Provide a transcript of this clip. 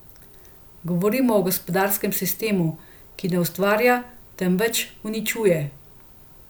Govorimo o gospodarskem sistemu, ki ne ustvarja, temveč uničuje.